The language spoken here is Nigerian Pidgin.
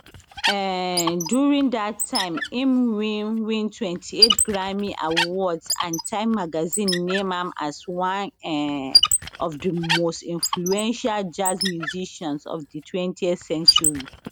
um during dat time im win win 28 grammy awards and time magazine name am as one um of di most influential jazz musicians of di 20th century